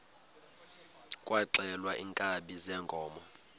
kwaxhelwa iinkabi zeenkomo